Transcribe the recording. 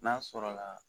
N'a sɔrɔla